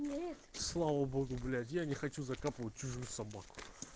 слава богу блять я не хочу закапывать чужую собаку